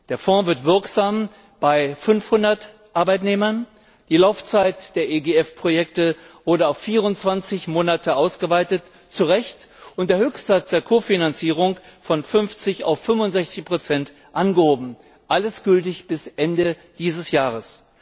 Der Fonds wird wirksam bei 500 Arbeitnehmern, die Laufzeit der EGF Projekte wurde auf 24 Monate ausgeweitet zu Recht und der Höchstsatz der Kofinanzierung von 50 auf 65 angehoben, alles gültig bis Ende dieses Jahres.